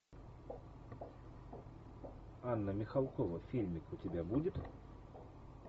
анна михалкова фильмик у тебя будет